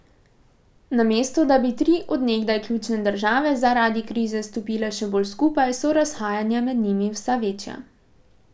Namesto da bi tri od nekdaj ključne države zaradi krize stopile še bolj skupaj, so razhajanja med njimi vse večja.